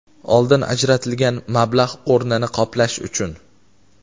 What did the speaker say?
oldin ajratilgan mablag‘ o‘rnini qoplash) uchun;.